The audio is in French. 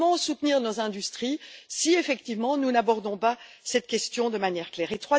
Comment soutenir nos industries si, effectivement, nous n'abordons pas cette question de manière claire?